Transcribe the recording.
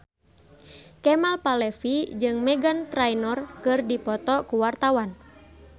Kemal Palevi jeung Meghan Trainor keur dipoto ku wartawan